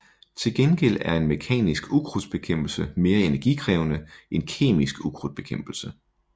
Til gengæld er en mekanisk ukrudtbekæmpelse mere energikrævende end kemisk ukrudtbekæmpelse